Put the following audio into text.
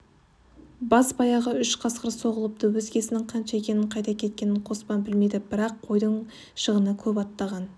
бас-баяғы үш қасқыр соғылыпты өзгесінің қанша екенін қайда кеткенін қоспан білмейді бірақ қойдың шығыны көп аттаған